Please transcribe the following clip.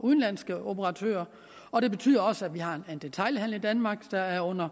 udenlandske operatører og det betyder også at vi har en detailhandel i danmark der er under